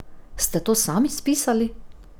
Ste to sami spisali?